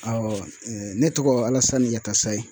ne tɔgɔ Alasani Yatasayi.